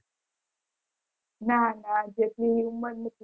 ના ના જેટલી ઉંમર